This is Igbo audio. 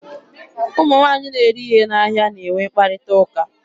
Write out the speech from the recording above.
Ụmụ nwaanyị na-ere ihe n'ahịa na-enwe mkparịta ụka.